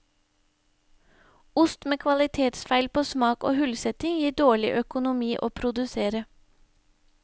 Ost med kvalitetsfeil på smak og hullsetting gir dårlig økonomi å produsere.